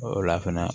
O la fɛnɛ